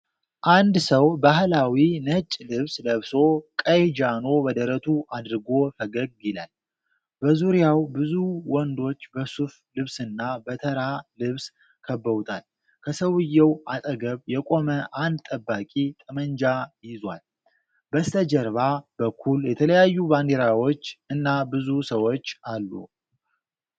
አንድ ሰው ባህላዊ ነጭ ልብስ ለብሶ፣ ቀይ ጃኖ በደረቱ አድርጎ ፈገግ ይላል። በዙሪያው ብዙ ወንዶች በሱፍ ልብስና በተራ ልብስ ከበውታል፤ ከሰውዬው አጠገብ የቆመ አንድ ጠባቂ ጠመንጃ ይዟል። በስተጀርባ በኩል የተለያዩ ባንዲራዎች እና ብዙ ሰዎች አሉ።